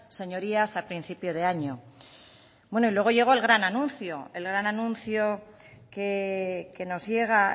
señorías a principio de año bueno y luego llegó el gran anuncio el gran anuncio que nos llega